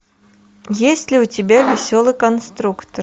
есть ли у тебя веселый конструктор